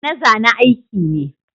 Zane-zane aiki ne.